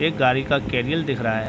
एक गाड़ी का कैरियर दिख रहा है।